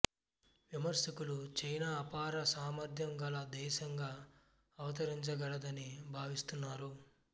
విమర్శకులు చైనా అపార సామర్థ్యం గల దేశంగా అవతరించగలదని భావిస్తున్నారు